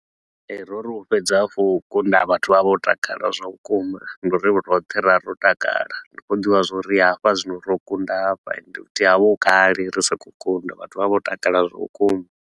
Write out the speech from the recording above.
Ee, ro ri u fhedza kha u kunda, vhathu vha vha vho takala zwa vhukuma nga uri roṱhe ra ro takala. Ri khou ḓivha zwa uri hafha zwino ro kunda hafha ende futhi ho vha hu kale ri sa khou kunda, vhathu vho vha vho takala zwa vhukuma.